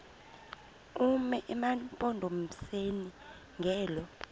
bume emampondomiseni ngelo